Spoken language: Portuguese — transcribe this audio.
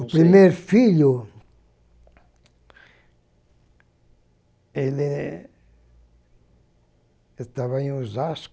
O primeiro filho... Ele... Eu estava em Osasco.